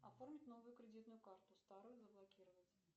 оформить новую кредитную карту старую заблокировать